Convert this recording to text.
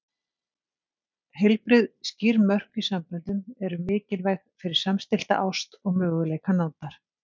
Heilbrigð, skýr mörk í samböndum eru mikilvæg fyrir samstillta ást og möguleika nándar.